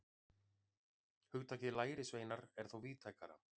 Hugtakið lærisveinar er þó víðtækara.